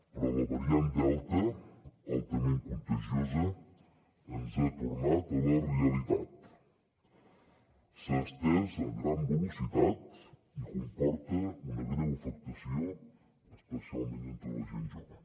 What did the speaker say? però la variant delta altament contagiosa ens ha tornat a la realitat s’ha estès a gran velocitat i comporta una greu afectació especialment entre la gent jove